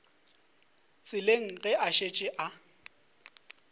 tseleng ge a šetše a